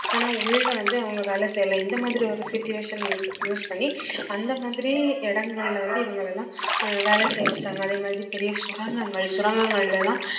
ஆனா உள்ள வந்து அவங்க வேலை செய்யலாம் இந்த மாதிரி ஒரு situation use use பண்ணி அந்த மாதிரி இடங்கள்ல வந்து இவங்களை எல்லாம் அஹ் வேலை செய்ய வெச்சாங்க அதே மாதிரி பெரிய சுரங்கங்கள் சுரங்கங்கள்ல எல்லாம்